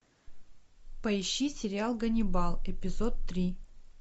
поищи сериал ганнибал эпизод три